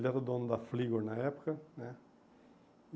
Ele era o dono da Fligor na época né.